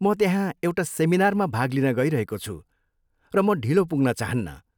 म त्यहाँ एउटा सेमिनारमा भाग लिन गइरहेको छु, र म ढिलो पुग्न चाहन्नँ।